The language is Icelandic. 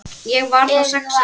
Ég var þá sex ára.